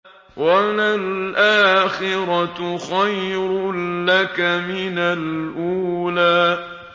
وَلَلْآخِرَةُ خَيْرٌ لَّكَ مِنَ الْأُولَىٰ